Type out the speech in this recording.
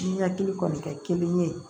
Ni hakili kɔni ka kelen ye